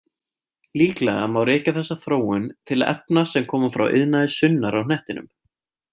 Líklega má rekja þessa þróun til efna sem koma frá iðnaði sunnar á hnettinum.